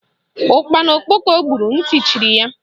Ụkpana okpoko gburu ntị chiri ya.